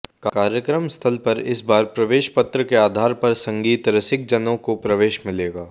कार्यक्रम स्थल पर इस बार प्रवेश पत्र के आधार पर संगीत रसिकजनों को प्रवेश मिलेगा